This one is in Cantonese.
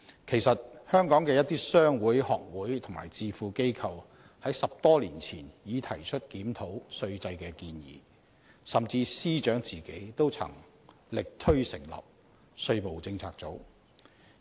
其實，香港的一些商會、學會及智庫等機構在10多年前已提出檢討稅制的建議，甚至司長都曾力推成立"稅務政策組"。